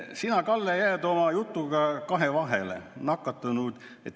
Sellega on hävitatud nakatunud raipeid ja vammi täis maju.